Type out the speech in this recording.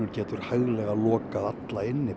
getur hæglega lokað alla inni